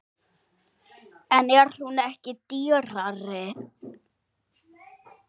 En er hún ekki dýrari?